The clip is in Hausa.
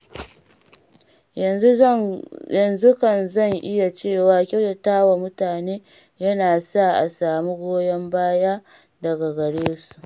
Yanzu kan zan iya cewa kyautatawa mutane yana sa a samu goyon baya daga gare su.